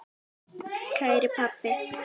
Kæri pabbi.